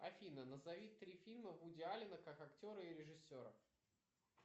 афина назови три фильма вуди аллена как актера и режиссера